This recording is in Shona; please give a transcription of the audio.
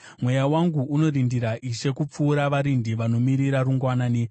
Mweya wangu unorindira Ishe kupfuura varindi vanomirira rungwanani.